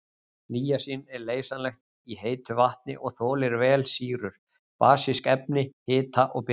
Níasín er leysanlegt í heitu vatni og þolir vel sýrur, basísk efni, hita og birtu.